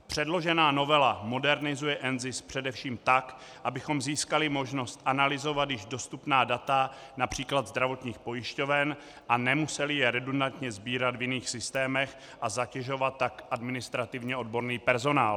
Předložená novela modernizuje NZIS především tak, abychom získali možnost analyzovat již dostupná data, například zdravotních pojišťoven, a nemuseli je redundantně sbírat v jiných systémech a zatěžovat tak administrativně odborný personál.